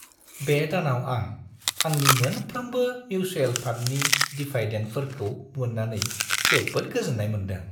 बे दानाव आं आंनि मोनफ्रोमबो मिउचुएल फान्डनि डिभायडेन्डफोरखौ मोन्नानै जोबोद गोजोन्नाय मोनदों।